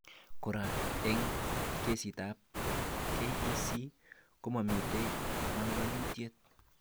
Kora , eng kesitab KEC komamite banganutiet